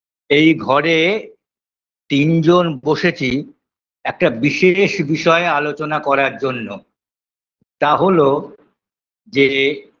এই ঘরে তিন জন বসেছি একটা বিশেষ বিষয়ে আলোচনা করার জন্য তা হলো যে